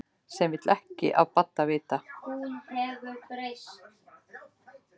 Sem vill ekki af Badda vita.